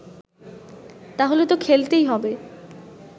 তাহলে তো খেলতেই হবে